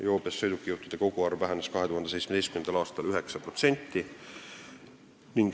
Joobes sõidukijuhtide koguarv vähenes 2017. aastal 9%.